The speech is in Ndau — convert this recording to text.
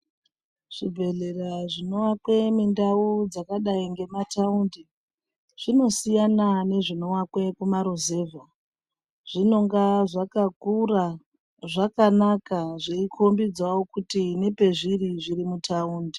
Zvibhedhlera zvinoakwe mundau dzakadai ngemataundi zvinosiyana nezvinoakwe kumaruzevha zvinonga zvakakura zvakanaka zveikhombidzawo kuti nepezviri zviri mutaundi.